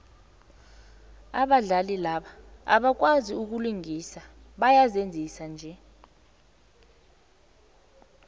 abadlali laba abakwazai ukulingisa bayazenzisa nje